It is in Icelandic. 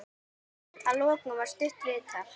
Að lokum var stutt viðtal.